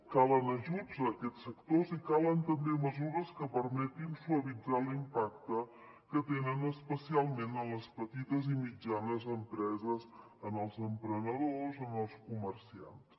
calen ajuts a aquests sectors i calen també mesures que permetin suavitzar l’impacte que tenen especialment en les petites i mitjanes empreses en els emprenedors en els comerciants